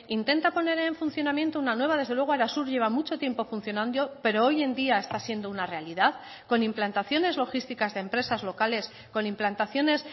intenta poner en funcionamiento una nueva desde luego arasur lleva mucho tiempo funcionando pero hoy en día está siendo una realidad con implantaciones logísticas de empresas locales con implantaciones